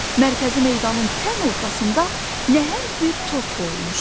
Mərkəzi meydanın tən ortasında nəhəng bir tort qoyulmuşdu.